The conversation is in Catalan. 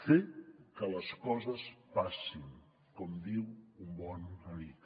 fer que les coses passin com diu un bon amic